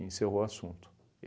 encerrou o assunto.